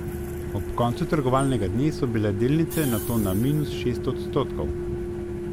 Ob koncu trgovalnega dneva so bile delnice nato na minus šest odstotkov.